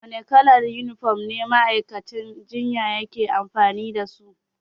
Wane kalar yunifom ne ma'aikatan jinya ke amfani da su?